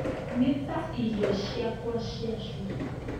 Nĩ ta irio ciakwa ciacura